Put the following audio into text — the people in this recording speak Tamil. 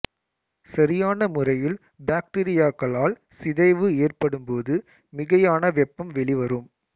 சரியான முறையில் பாக்டீரியாக்களால் சிதைவு ஏற்படும்போது மிகையான வெப்பம் வெளிவரும்